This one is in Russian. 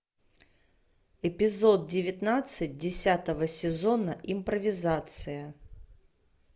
эпизод девятнадцать десятого сезона импровизация